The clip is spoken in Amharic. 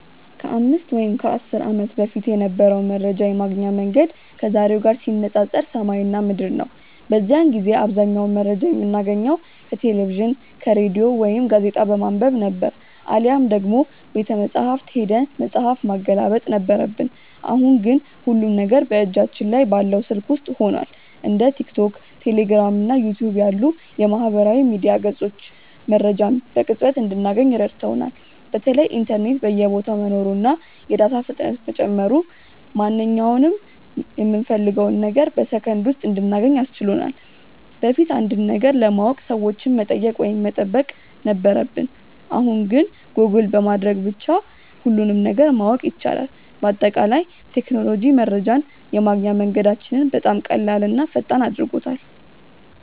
ከ5 ወይም ከ10 ዓመት በፊት የነበረው መረጃ የማግኛ መንገድ ከዛሬው ጋር ሲነፃፀር ሰማይና ምድር ነው። በዚያን ጊዜ አብዛኛውን መረጃ የምናገኘው ከቴሌቪዥን፣ ከሬዲዮ ወይም ጋዜጣ በማንበብ ነበር፤ አሊያም ደግሞ ቤተመጻሕፍት ሄደን መጽሐፍ ማገላበጥ ነበረብን። አሁን ግን ሁሉም ነገር በእጃችን ላይ ባለው ስልክ ውስጥ ሆኗል። እንደ ቲክቶክ፣ ቴሌግራም እና ዩቲዩብ ያሉ የማህበራዊ ሚዲያ ገጾች መረጃን በቅጽበት እንድናገኝ ረድተውናል። በተለይ ኢንተርኔት በየቦታው መኖሩና የዳታ ፍጥነት መጨመሩ ማንኛውንም የምንፈልገውን ነገር በሰከንድ ውስጥ እንድናገኝ አስችሎናል። በፊት አንድን ነገር ለማወቅ ሰዎችን መጠየቅ ወይም መጠበቅ ነበረብን፣ አሁን ግን ጎግል በማድረግ ብቻ ሁሉንም ነገር ማወቅ ይቻላል። በአጠቃላይ ቴክኖሎጂ መረጃን የማግኛ መንገዳችንን በጣም ቀላልና ፈጣን አድርጎታል።